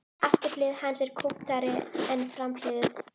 Afturhlið hans er kúptari en framhliðin.